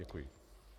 Děkuji.